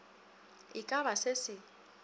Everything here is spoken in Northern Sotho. e ka ba se se